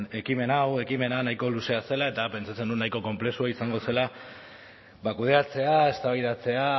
ekimen hau ekimena nahiko luzea zela eta pentsatzen nuen nahiko konplexua izango zela kudeatzea eztabaidatzea